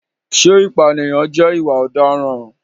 Ṣé ìpànìyàn jẹ́ ìwà ọ̀daràn?